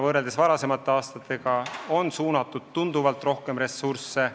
Võrreldes varasemate aastatega on valdkonda suunatud tunduvalt rohkem ressursse.